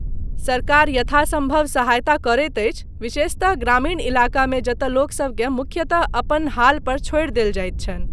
सरकार यथासम्भव सहायता करैत अछि, विशेषतः ग्रामीण इलाकामे, जतय लोकसभकेँ मुख्यतः अपन हालपर छोड़ि देल जाइत छनि।